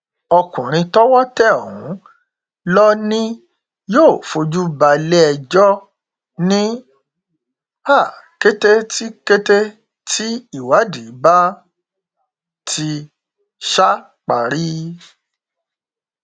ọkùnrin tọwọ tẹ ọhún lọ ni yóò fojú balẹẹjọ ní um kété tí kété tí ìwádìí bá ti um parí